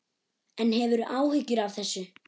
En hefurðu áhyggjur af þessu?